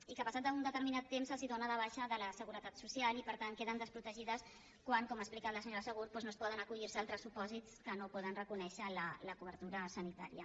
i que passat un determinat temps se’ls dóna de baixa de la seguretat social i per tant queden desprotegides quan com ha explicat la senyora segú doncs no es poden acollir a altres supòsits que no poden reconèixer la cobertura sanitària